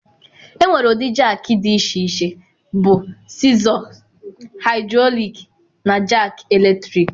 Enwere ụdị jakị dị iche iche bụ Sịzọ, Haịdrọlik na Jaki Eletrik.